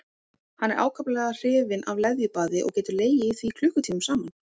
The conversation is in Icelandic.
Hann er ákaflega hrifinn af leðjubaði og getur legið í því klukkutímum saman.